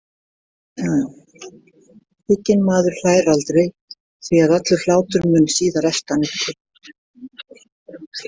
Hygginn maður hlær aldrei því að allur hlátur mun síðar elta hann uppi.